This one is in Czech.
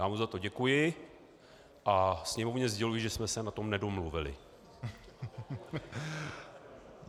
Já mu za to děkuji a Sněmovně sděluji, že jsme se na tom nedomluvili.